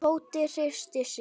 Tóti hristi sig.